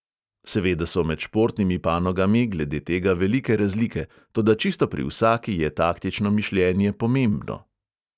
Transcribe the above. Seveda so med športnimi panogami glede tega velike razlike, toda čisto pri vsaki je taktično mišljenje pomembno.